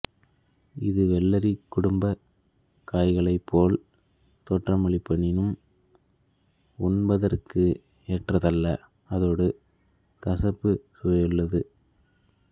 இது வெள்ளரிக் குடும்பக் காய்களைப்போல் தோற்றமளிப்பினும் உண்பதற்குச் ஏற்றதல்ல அத்தோடு கசப்புச் சுவையுள்ளது